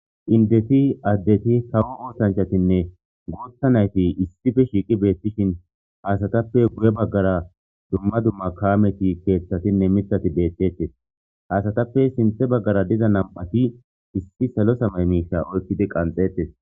indeti addeti kawo oosanchatinne guutha nayti issife shiiqi beettishin hasatappe guye baggara dumma dumma kaameti keeththatinne mitati beettettes haasatappe sinthe baggara diza nam'ati issi salo samay miiza oykkidi qanxettes